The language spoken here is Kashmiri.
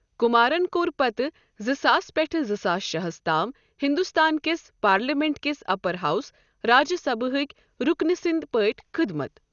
کُمارَن کوٚر پتہٕ زٕ ساس پٮ۪ٹھ زٕ ساس شےٚ ہَس تام ہندوستان کِس پارلیمنٹ کِس اپر ہاوُس راجیہ سبھا ہٕکۍ رُکنہٕ سٕنٛدۍ پٲٹھۍ خٔدمَت۔